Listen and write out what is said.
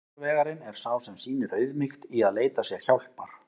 Sigurvegarinn er sá sem sýnir auðmýkt í að leita sér hjálpar!